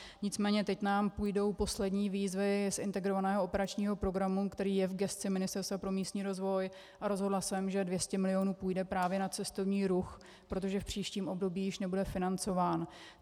Nicméně teď nám půjdou poslední výzvy z Integrovaného operačního programu, který je v gesci Ministerstva pro místní rozvoj, a rozhodla jsem, že 200 milionů půjde právě na cestovní ruch, protože v příštím období již nebude financován.